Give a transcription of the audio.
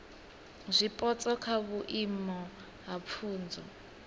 zwipotso kha vhuimo ha pfunzo